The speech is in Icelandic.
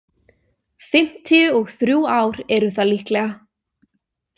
Fimmtíu og þrjú ár eru það líklega.